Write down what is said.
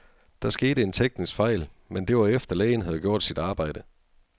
Der skete en teknisk fejl, men det var efter, lægen havde gjort sit arbejde.